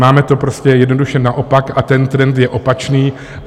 Máme to prostě jednoduše naopak a ten trend je opačný.